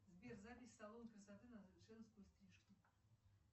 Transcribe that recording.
сбер запись в салон красоты на женскую стрижку